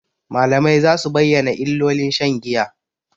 Malamai za su bayyana illolin shan giya.